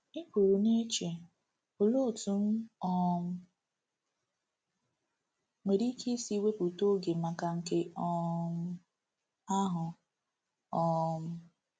I pụrụ na-eche, Olee otú m um nwere ike isi wepụta oge maka nke um ahụ? ’ um